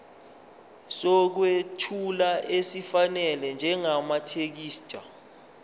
sokwethula esifanele njengamathekisthi